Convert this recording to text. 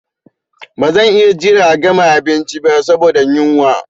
Ba zan iya jiran a gama abinci ba saboda yunwa.